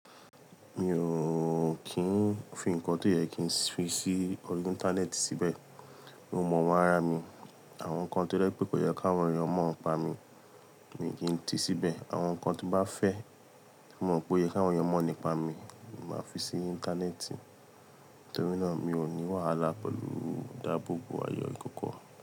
Mi ò kín fi nǹkan tó yẹ kí n fi sí orí Íńtánẹ́ẹ̀tì síbẹ̀. Mo mọ àwọn ara mi, àwọn nǹkan tó rẹ pé kò yẹ káwọn èèyàn mọ̀ọ́ n pa mí, mi ò kín ti síbẹ̀. Àwọn nǹkan tí bá fẹ́, ti mo mọ̀ pé o yẹ káwọn èèyàn mọ̀ọ́ nípa mi, mo máa fi sí Íńtánẹ́ẹ̀tì. Nítorí náà, mi ò ní wàhálà pẹ̀lú ìdábòbò ayọ̀ ìkókó.